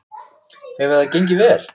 Hefur það gengið vel?